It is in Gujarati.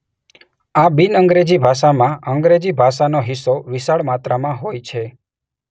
આ બિન અંગ્રેજી ભાષામાં અંગ્રેજી ભાષાનો હિસ્સો વિશાળ માત્રામાં હોય છે.